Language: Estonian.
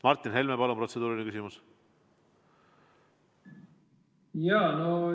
Martin Helme, palun protseduuriline küsimus!